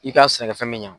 I ka sɛnɛkɛfɛn bɛ ɲa